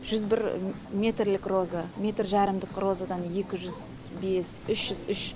жүз бір метрлік роза метр жарымдық розадан екі жүз бес үш жүз үш